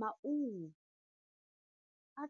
Maungo a